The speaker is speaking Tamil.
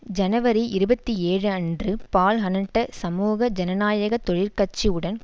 ஜனவரி இருபத்தி ஏழு அன்று பால்ஹனன்ட சமூக ஜனநாயக தொழிற் கட்சி உடன்